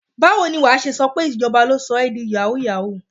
Báwo ni wà á ṣe sọ pé ìjọba ló sọ ẹ di yàwúù-yàwúù?